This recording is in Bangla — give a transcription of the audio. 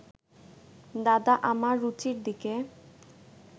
দাদা আমার রুচির দিকে